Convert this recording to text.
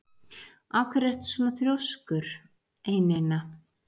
Af hverju ertu svona þrjóskur, Einína?